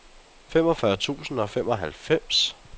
femogfyrre tusind og femoghalvfems